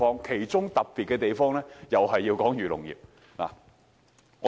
其中較為特別的，也是有關漁農業。